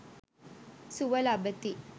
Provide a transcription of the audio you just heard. සුව ලබති.